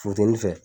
Funteni fɛ